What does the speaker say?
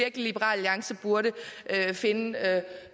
at liberal alliance burde finde